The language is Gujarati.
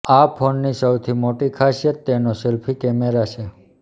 આ ફોનની સૌથી મોટી ખાસિયત તેનો સેલ્ફી કેમેરા છે